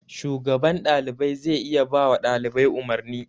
Shugaban ɗalibai zai iya bawa ɗalibai umarni.